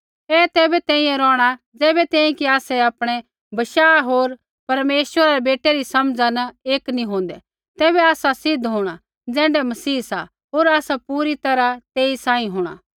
ऐ तैबै तैंईंयैं रौहणा ज़ैबै तैंईंयैं कि आसै आपणै बशाह होर परमेश्वरै रै बेटै री समझा न एक नी होंदै तैबै आसा सिद्ध होंणा ज़ैण्ढै मसीह सा होर आसा पूरी तैरहा तेई सांही होंणा